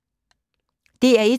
DR1